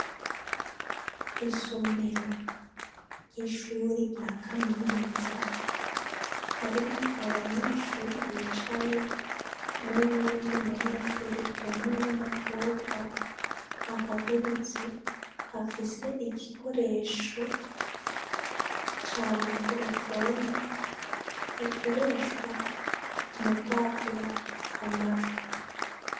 Isomero ry'ishuri rya kaminuza harimwo abanyeshuri bicaye n'uyundi munyeshuri umwe w'umukobwa ahagurutse afise igikoresho ca mikorofoni gikoreshwa mu kwagura amajwi.